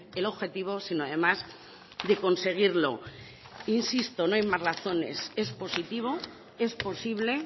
el objetivo sino además de conseguirlo insisto no hay más razones es positivo es posible